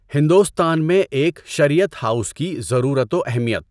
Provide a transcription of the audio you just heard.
ہندوستان میں ایک شریعت ہاؤس کی ضرورت و اہمیت